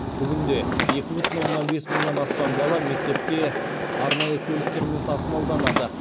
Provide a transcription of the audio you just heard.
бүгінде екі бүтін оннан бес мыңнан астам бала мектепке арнайы көліктермен тасымалданады